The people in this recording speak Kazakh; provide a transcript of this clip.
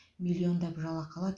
миллиондап жалақы алады